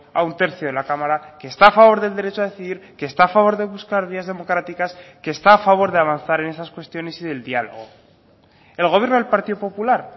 a un tercio de la cámara que está a favor del derecho a decidir que está a favor de buscar vías democráticas que está a favor de avanzar en esas cuestiones y del diálogo el gobierno del partido popular